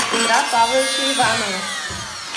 петра павловича иванова